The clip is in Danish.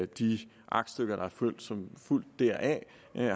de aktstykker som er fulgt deraf